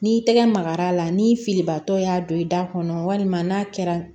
N'i tɛgɛ magara a la ni filibatɔ y'a don i da kɔnɔ walima n'a kɛra